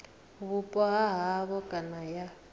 vhupo ha havho kana ya